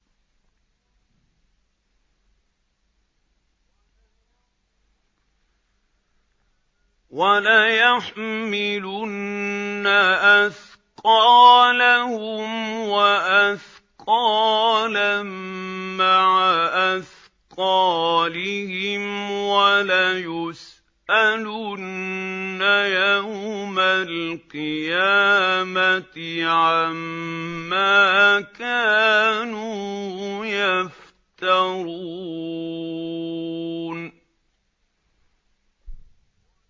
وَلَيَحْمِلُنَّ أَثْقَالَهُمْ وَأَثْقَالًا مَّعَ أَثْقَالِهِمْ ۖ وَلَيُسْأَلُنَّ يَوْمَ الْقِيَامَةِ عَمَّا كَانُوا يَفْتَرُونَ